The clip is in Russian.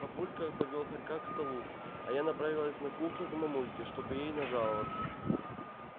папулька повёл хорька к столу а я направилась на кухню к мамульке чтобы ей нажаловаться